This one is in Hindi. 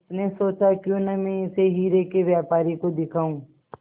उसने सोचा क्यों न मैं इसे हीरे के व्यापारी को दिखाऊं